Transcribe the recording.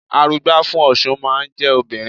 Arugbá fún Ọ̀ṣun máa ń jẹ́ obìnrin.